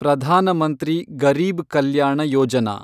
Pradhan Mantri Garib Kalyan Yojana